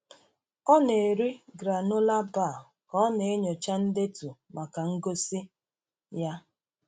Ọ na-eri granola bar ka ọ na-enyocha ndetu maka ngosi ya.